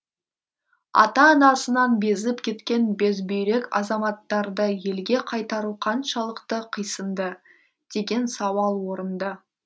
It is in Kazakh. ата анасынан безіп кеткен безбүйрек азаматтарды елге қайтару қаншалықты қисынды деген сауал орынды